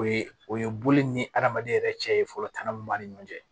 O ye o ye boli ni adamaden yɛrɛ cɛ ye fɔlɔ tana min b'an ni ɲɔgɔn cɛ